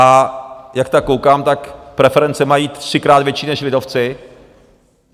A jak tak koukám, tak preference mají třikrát větší než lidovci.